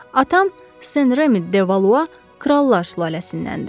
Atam Sen Remi de Valua krallar sülaləsindəndir.